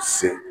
Se